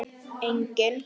Enginn á hættu.